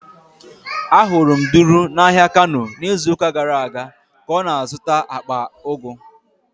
Ahụrụ m Duru n'ahịa Kano n'izuụka gara aga ka ọ na-azụta akpa ugu.